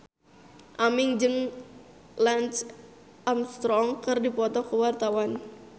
Aming jeung Lance Armstrong keur dipoto ku wartawan